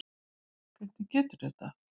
Hvernig gerðirðu þetta?